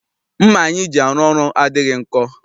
Mma anyị ji arụ ọrụ adịghị nkọ.